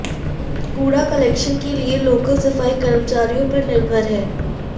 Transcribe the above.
कूड़ा कलेक्शन के लिए लोकल सफाई कर्मचारियों पर निर्भर हैं